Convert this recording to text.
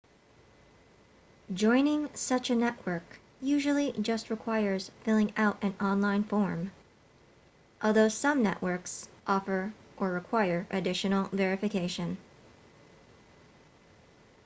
joining such a network usually just requires filling out an online form although some networks offer or require additional verification